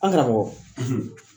An karamɔgɔ